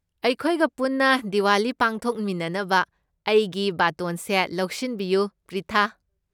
ꯑꯩꯈꯣꯏꯒ ꯄꯨꯟꯅ ꯗꯤꯋꯥꯂꯤ ꯄꯥꯡꯊꯣꯛꯃꯤꯟꯅꯅꯕ ꯑꯩꯒꯤ ꯕꯥꯇꯣꯟꯁꯦ ꯂꯧꯁꯤꯟꯕꯤꯌꯨ, ꯄ꯭ꯔꯤꯊꯥ꯫